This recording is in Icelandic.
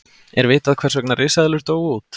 er vitað hvers vegna risaeðlur dóu út